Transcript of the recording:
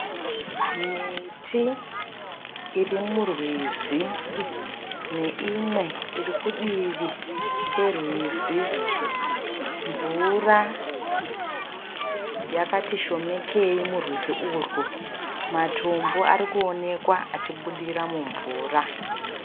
Miti iri murwizi neimwe iri kudivi kwerwizi. Mvura yakati shomekei murwizi urwu. Matombo arikuonekwa achibudira mumvura.